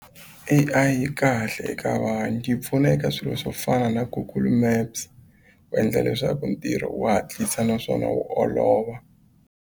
A_I yi kahle eka vanhu yi pfuna eka swilo swo fana na google maps ku endla leswaku ntirho wu hatlisa naswona wu olova.